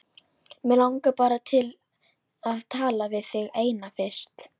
Mig langar bara til að tala við þig eina fyrst.